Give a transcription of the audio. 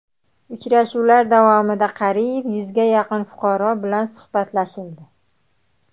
Uchrashuvlar davomida qariyb yuzga yaqin fuqaro bilan suhbatlashildi.